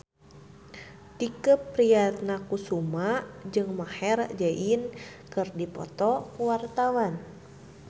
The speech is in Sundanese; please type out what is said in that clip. Tike Priatnakusuma jeung Maher Zein keur dipoto ku wartawan